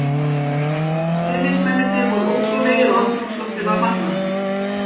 Stuðningsmennirnir voru ótrúlegir og andrúmsloftið var magnað.